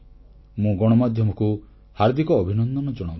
ମୁଁ ଗଣମାଧ୍ୟମକୁ ହାର୍ଦ୍ଦିକ ଅଭିନନ୍ଦନ ଜଣାଉଛି